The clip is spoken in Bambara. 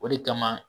O de kama